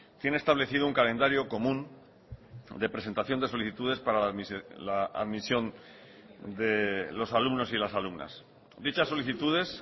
tiene establecido un calendario común de presentación de solicitudes para la admisión de los alumnos y las alumnas dichas solicitudes